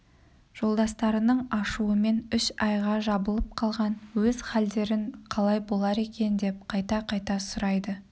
жолдастарының ашуымен үш айға жабылып қалған өз халдерін қалай болар екен деп қайта-қайта сұрайды